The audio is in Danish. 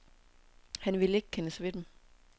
Han ville ikke kendes ved dem.